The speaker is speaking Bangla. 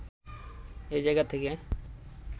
এ জায়গা থেকে